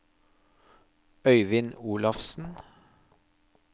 Øivind Olafsen